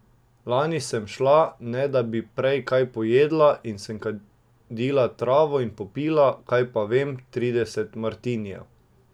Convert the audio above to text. Lani sem šla, ne da bi prej kaj pojedla, in sem kadila travo in popila, kaj pa vem, trideset martinijev.